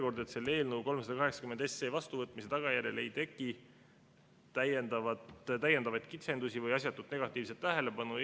Loodan, et eelnõu 380 vastuvõtmise tagajärjel ei tekitata Eestis tegutsevatele hoiu-laenuühistutele ja ühistupankadele täiendavaid kitsendusi ega asjatut negatiivset tähelepanu.